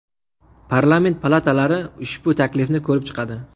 Parlament palatalari ushbu taklifni ko‘rib chiqadi.